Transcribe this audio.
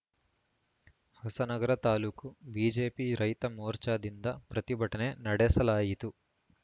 Hosanagara taluk BJP ರೈತ ಮೋರ್ಚಾದಿಂದ ಪ್ರತಿಭಟನೆ ನಡೆಸಲಾಯಿತು